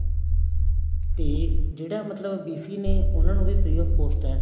ਤੇ ਜਿਹੜਾ ਮਤਲਬ BC ਨੇ ਉਹਨਾ ਨੂੰ ਵੀ free of cost ਹੈ